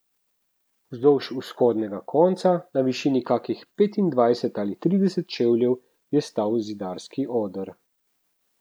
Vzdolž vzhodnega konca, na višini kakšnih petindvajset ali trideset čevljev, je stal zidarski oder.